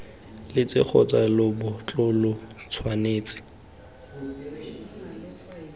letsele kgotsa lebotlolo lo tshwanetse